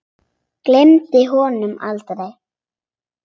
Gleymir honum aldrei.